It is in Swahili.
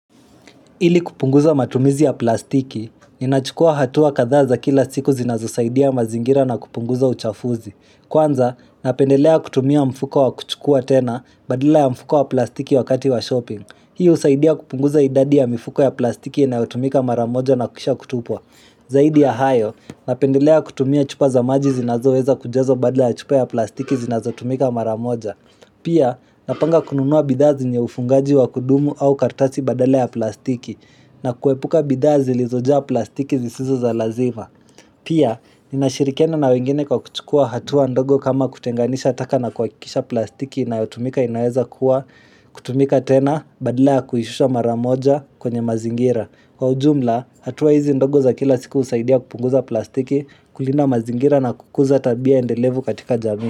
Ili kupunguza matumizi ya plastiki, ninachukua hatua kadhaa za kila siku zinazosaidia mazingira na kupunguza uchafuzi. Kwanza, napendelea kutumia mfuko wa kuchukua tena badala ya mfuko wa plastiki wakati wa shopping. Hii husaidia kupunguza idadi ya mfuko ya plastiki inayotumika mara moja na kisha kutupwa. Zaidi ya hayo, napendelea kutumia chupa za maji zinazoweza kujazwa badala ya chupa ya plastiki zinazotumika mara moja. Pia, napanga kununua bidhaa zenye ufungaji wa kudumu au kartasi badala ya plastiki na kuepuka bidhaa zilizojaa plastiki zisizo za lazima. Pia, ninashirikiana na wengine kwa kuchukua hatua ndogo kama kutenganisha taka na kuhakikisha plastiki inayotumika inaweza kuwa kutumika tena badala ya kuishwa mara moja kwenye mazingira. Kwa ujumla, hatua hizi ndogo za kila siku usaidia kupunguza plastiki kulinda mazingira na kukuza tabia endelevu katika jami.